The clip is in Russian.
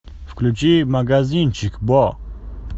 включи магазинчик бо